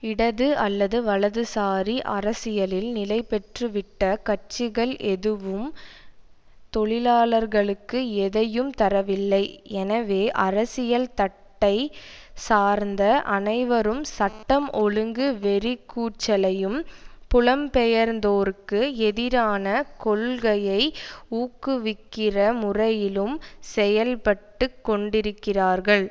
இடது அல்லது வலதுசாரி அரசியலில் நிலைபெற்றுவிட்ட கட்சிகள் எதுவும் தொழிலாளர்களுக்கு எதையும் தரவில்லை எனவே அரசியல் தட்டைச் சார்ந்த அனைவரும் சட்டம் ஒழுங்கு வெறிக்கூச்சலையும் புலம்பெயர்ந்தோர்க்கு எதிரான கொள்கையை ஊக்குவிக்கிற முறையிலும் செயல்பட்டு கொண்டிருக்கிறார்கள்